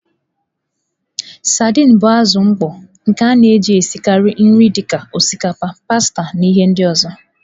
Sadin bụ azụ mkpọ nke a na-ejikarị esi nri dị ka osikapa, pasta, ihendori.